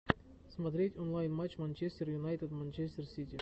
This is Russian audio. смотреть онлайн матч манчестер юнайтед манчестер сити